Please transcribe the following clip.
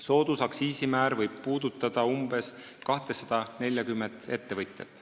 Soodusaktsiisimäär võib puudutada umbes 240 ettevõtjat.